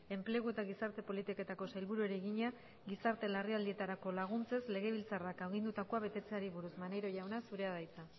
enplegu eta gizarte politiketako sailburuari egina gizarte larrialdietarako laguntzez legebiltzarrak agindutakoa betetzeari buruz maneiro jauna zurea da hitza